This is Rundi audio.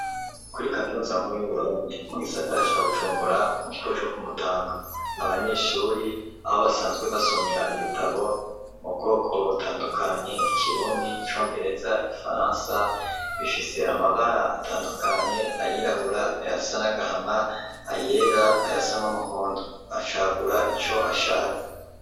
Kuri kaminuza nkuru y'uburundi mugisara ca Bujumbura mu kigobe co kumutanga, abanyeshuri aho basanzwe basomera ibitabo mu bwoko butandukanye ikirundi icongereza, igifaransa bifise amabara atandukanye ayirabura, ayasa n'agahama, ayera ayasa n'umuhondo acagura ico ashatse.